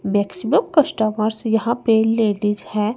Maximum customers यहां पे ladies है।